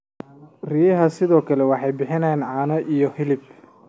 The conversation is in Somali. Riyaha sidoo kale waxay bixiyaan caano iyo hilib.